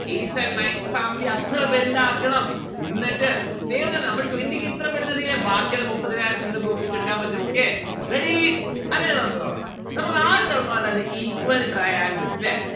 eighth and nineth family അത്ര വൽതാക്കണം എന്നിട്ട് വേണം നമ്മൾ twenty k ഇത്ര പെട്ടെന്ന് എത്തിയില്ലേ ബാക്കിയിള്ള മുപ്പതിനായിരം നിങ്ങൾക്ക് ഒപ്പിച്ച് എടുക്കാൻ പറ്റും okay. ready അങ്ങനെ നമ്മുക്ക് തൊടങ്ങാം നമ്മുക്ക് ആദ്യം തൊടങ്ങാനുള്ളത് equal traingles ല്ലേ